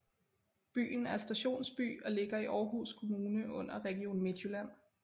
Byen er stationsby og ligger i Aarhus Kommune under Region Midtjylland